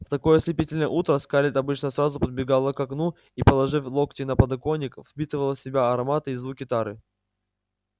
в такое ослепительное утро скарлетт обычно сразу подбегала к окну и положив локти на подоконник впитывала в себя ароматы и звуки тары